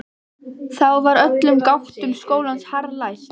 Þá var öllum gáttum skólans harðlæst.